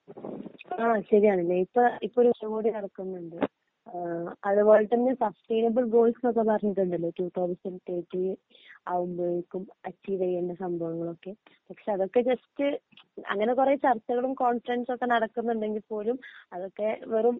ആ ശരിയാണ് ഇപ്പോ ഇപ്പോ ഒരു ഉച്ച കോടി നടക്കുന്നുണ്ട് അത് പോലെ തന്നെ സസ്റ്റയിനബിൾ ഗോള്‍സ് എന്നൊക്കെ പറഞ്ഞിട്ട് ഉണ്ടല്ലോ 2030 ആകുമ്പോഴേക്കും അച്ചീവ് ചെയ്യേണ്ട സംഭവങ്ങളൊക്കെ പക്ഷേ അതൊകെ ജസ്റ്റ് അങ്ങനെ കുറെ ചർച്ചകളും കോൺഫ്രെൻസും ഒക്കെ നടക്കുന്നുണ്ടെങ്കിൽ പോലും അതൊക്കെ വെറും